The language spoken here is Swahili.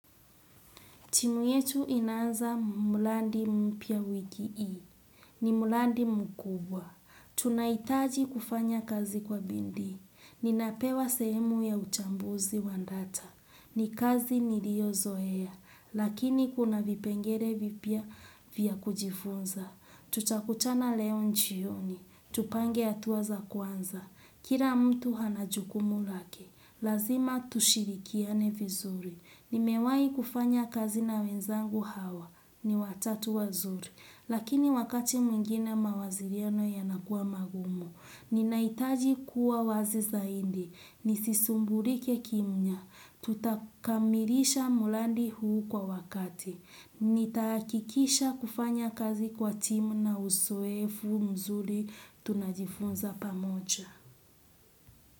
Timu yetu inaanza mulandi mpya wiki hii. Ni mulandi mkubwa. Tunahitaji kufanya kazi kwa bii. Ninapewa sehemu ya uchambuzi wa data. Ni kazi niliyozoea. Lakini kuna vipengele vipya vya kujifunza. Tutakutana leo jioni. Tupange hatua za kwanza. Kila mtu ana jukumu lake. Lazima tushirikiane vizuri. Nimewahi kufanya kazi na wenzangu hawa. Ni watatu wazuri. Lakini wakati mwingine mawasiliano yanakua magumu. Ninahitaji kuwa wazi zaidi. Nisisumbulike kimya. Tutakamilisha mradi huu kwa wakati. Nitahakikisha kufanya kazi kwa timu na uzoefu nzuri tunajifunza pamoja.